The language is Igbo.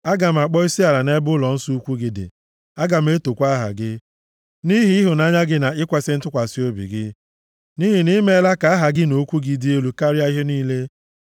Aga m akpọ isiala nʼebe ụlọnsọ ukwu gị dị aga m etokwa aha gị nʼihi ịhụnanya gị na ikwesi ntụkwasị obi gị, nʼihi na i meela ka aha gị na okwu gị dị elu karịa ihe niile. + 138:2 \+xt Aịz 42:21\+xt*